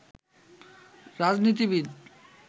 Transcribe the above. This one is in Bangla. রাজনীতিবিদ